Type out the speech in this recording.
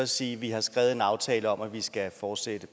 sige at vi har skrevet en aftale om at vi skal fortsætte